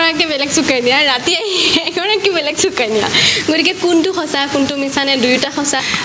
এগৰাকী বেলেগ সুকন্যা ৰাতি এইস এগৰাকী বেলেগ সুকন্যা গতিকে কোনটো সঁচা কোনটো মিছানে দুয়োটা সঁচা